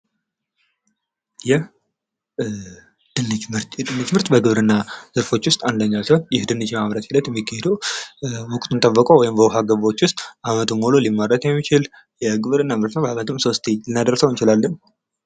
ይህ የድንች ምርት በግብርና ዘርፎች ውስጥ አንደኛው ሲሆን ይህ ደንች የማምረት ሂደት የሚካሄደው ወቅቱን ጠብቆ ወይም ደግሞ በውሃ ገብዎች ውስጥ ሊመረት የሚችል ወይም ደግሞ ሶስቴ ሊመረት የሚችል ምርት ነው።